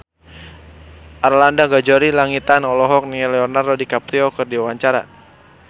Arlanda Ghazali Langitan olohok ningali Leonardo DiCaprio keur diwawancara